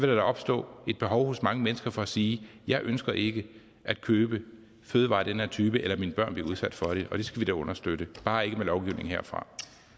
der da opstå et behov hos mange mennesker for at sige jeg ønsker ikke at købe fødevarer af den her type eller at min børn bliver udsat for det og det skal vi da understøtte bare ikke med lovgivning herfra